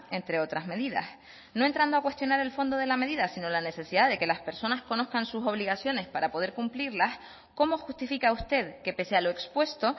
entre otras medidas no entrando a cuestionar el fondo de la medida si no la necesidad de que las personas conozcan sus obligaciones para poder cumplirlas cómo justifica usted que pese a lo expuesto